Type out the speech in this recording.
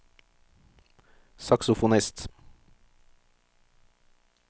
saksofonist